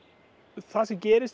það sem gerist